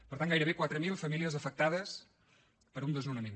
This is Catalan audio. per tant gairebé quatre mil famílies afectades per un desnonament